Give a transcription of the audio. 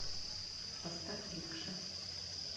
поставь рикша